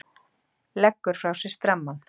Leggur frá sér strammann.